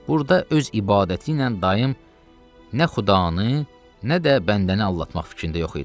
Burda öz ibadəti ilə dayım nə xudanı, nə də bəndəni aldatmaq fikrində yox idi.